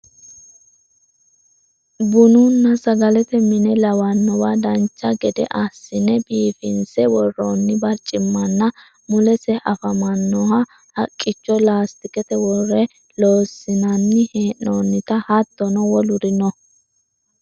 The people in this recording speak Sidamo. bununna sagalete mine lawannowa dancha gede assine biifinse worroonni barcimmanna mulesi afamanniohu haqqicho laastikete worre lossinanni hee'noonniti hattono woluri no